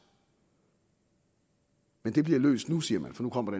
men det bliver løst nu siger man for nu kommer